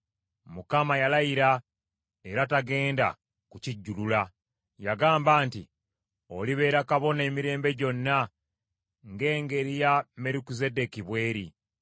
Mukama yalayira, era tagenda kukijjulula, yagamba nti, “Olibeera kabona emirembe gyonna ng’engeri ya Merukizeddeeki bw’eri.”